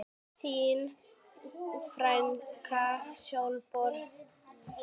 Þín frænka Sólborg Þóra.